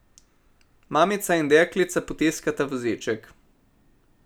Mamica in deklica potiskata voziček.